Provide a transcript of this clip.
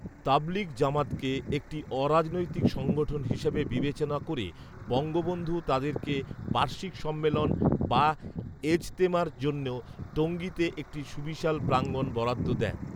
তাবলিগ জামাতকে একটি অরাজনৈতিক সংগঠন হিসেবে বিবেচনা করে বঙ্গবন্ধু তাদেরকে বার্ষিক সম্মেলন বা এজতেমার জন্য টঈীতে একটি সুবিশাল প্রাঙ্গন বরাদ্দ দেন